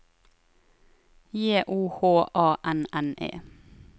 J O H A N N E